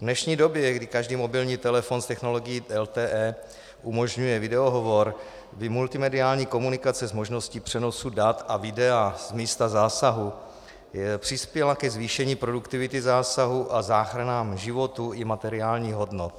V dnešní době, kdy každý mobilní telefon s technologií LTE umožňuje videohovor, by multimediální komunikace s možností přenosu dat a videa z místa zásahu přispěla ke zvýšení produktivity zásahů a záchranám životů i materiálních hodnot.